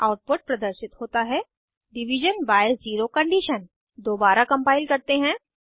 output प्रदर्शित होता है डिविजन बाय ज़ेरो कंडीशन दोबारा कम्पाइल करते हैं